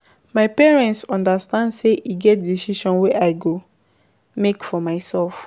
My parents understand sey e get decisions wey I go make for mysef.